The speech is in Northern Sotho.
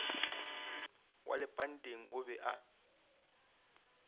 wa lepanteng o be a